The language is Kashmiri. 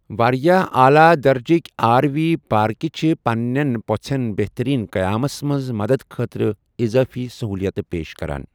واریاہ اعلیٰ درجٕک آر وی پارکہٕ چھِ پننٮ۪ن پوٚژھٮ۪ن بہترین قیامس منٛز مددٕ خٲطرٕ اِضافی سہولیتہٕ پیش کران۔